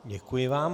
Děkuji vám.